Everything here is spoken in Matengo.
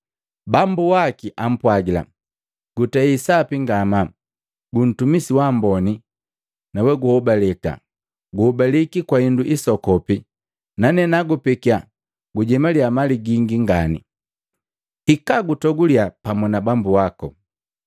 Bambu waki apwagila, ‘Gutei sapi ngamaa, guntumisi wa amboni na weguhobaleka, guhobaliki kwa hindu hisoku nane nagupekia gujemaliya mali gingi ngani. Hika gutoguliya pamu na bambu wako.’